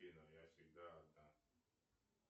афина я всегда одна